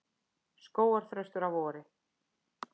Skógarþröstur að vori.